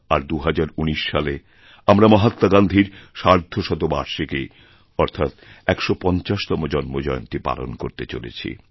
আর ২০১৯ সালে আমরা মহাত্মা গান্ধীর সার্ধশতবার্ষিকী অর্থাৎ ১৫০তমজন্মজয়ন্তী পালন করতে চলেছি